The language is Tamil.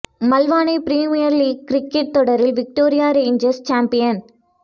மல்வானை பிரீமியர் லீக் கிரிக்கெட் தொடரில் விக்டோரியா ரேன்ஜர்ஸ் சாம்பியன்